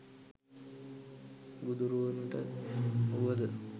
බුදුවරුනට වුව ද